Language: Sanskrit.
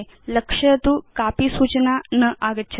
लक्षयतु कापि सूचना न आगच्छति